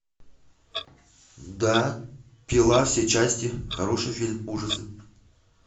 да пила все части хороший фильм ужасы